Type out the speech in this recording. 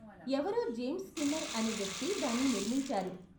ఎవరో James Skinner అనే వ్యక్తి దాన్ని నిర్మించారు.